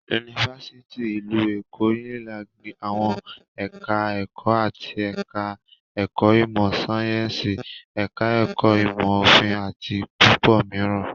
Yunifásítì ìlú Èkó (Unilag)ní àwọn ẹ̀ka-ẹ̀kọ́ áátì, ẹ̀ka-ẹ̀kọ́ ìmọ̀-sáyẹ́ńsì, ẹ̀ka-ẹ̀kọ́ ìmọ̀-òfin àti púpọ̀ mìíràn.